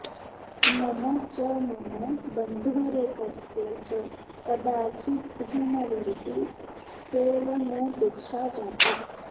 मम च मम बन्धोरेकस्य च कदाचिद्धूमवर्ति सेवनोपेक्षा जाता